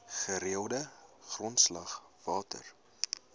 gereelde grondslag water